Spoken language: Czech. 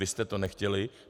Vy jste to nechtěli.